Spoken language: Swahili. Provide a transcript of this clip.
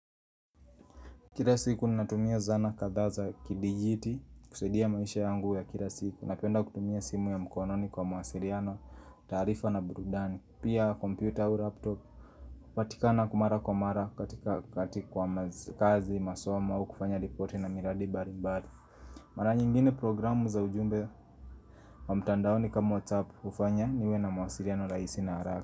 Kila siku ni natumia zana kadha za kidijiti kusaidia maisha yangu ya kila siku Napenda kutumia simu ya mkononi kwa mawasiliano, taarifa na burudani, pia kompyuta au laptop kupatikana mara kwa mara katika kwa kazi, masomo au kufanya ripoti na miradi mbalibali Mara nyingine programu za ujumbe wa mtandaoni kama WhatsApp hufanya niwe na mawasiliano rahisi na haraka.